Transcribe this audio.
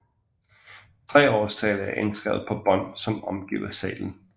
Tre årstal er indskrevet på bånd som omgiver seglet